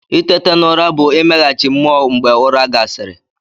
Itete n'ụra bụ imeghachi mmụọ mgbe ụra gasịrị.